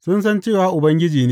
Sun san cewa Ubangiji ne.